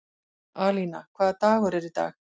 Alína, hvaða dagur er í dag?